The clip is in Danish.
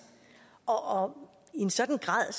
og i en sådan grad